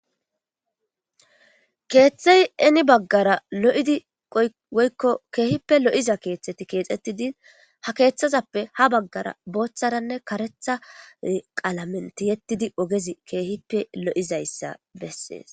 Keeththey eni baggara lo'idi ykkokeehippe lo'iza keeththeti keexxetti din ha keeththazappe ha baggara booththaranne karetha qalamenti yettidi ogezi keehippe lo'izayssa bessees.